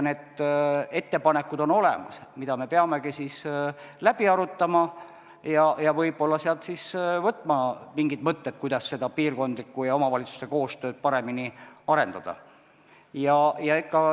Need ettepanekud on olemas, mida me peamegi läbi arutama ja võib-olla sealt võtma mingid mõtted, kuidas seda piirkondlikku ja omavalitsuste koostööd paremini arendada.